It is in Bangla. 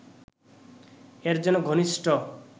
এর যেন ঘনিষ্ঠ